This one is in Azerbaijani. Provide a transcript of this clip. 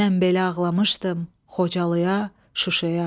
Mən belə ağlamışdım Xocalıya, Şuşaya.